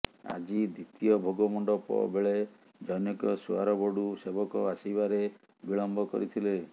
ଆଜି ଦ୍ବିତୀୟ ଭୋଗମଣ୍ଡପବେଳେ ଜନ୘କ ସୁଆର ବଡ଼ୁ ସେବକ ଆସିବାରେ ବିଳମ୍ବ କରିଥିଲେ